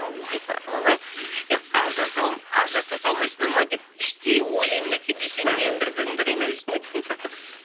ойбай ажыраса салмайсындар ма деп іштей ойлаймын да кейде ше неге бір біріңді қинап жүрсіңдер дейтін сияқты